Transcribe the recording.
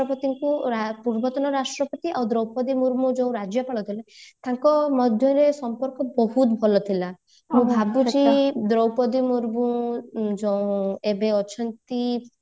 ପୂର୍ବତନ ରାଷ୍ଟ୍ରପତି ଆଉ ଦ୍ରୌପଦୀ ମୁର୍ମୁ ଯେଉଁ ରାଜ୍ୟପାଲ ଥିଲେ ତାଙ୍କ ମଧ୍ୟରେ ସମ୍ପର୍କ ବହୁତ ଭଲ ଥିଲା ମୁଁ ଭାବୁଛି ଦ୍ରୌପଦୀ ମୁର୍ମୁ ଏବେ ଅଛନ୍ତି